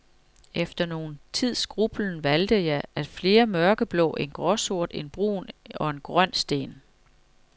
Efter nogen tids grublen valgte jeg flere mørkeblå, en gråsort, en brun og en grøn sten.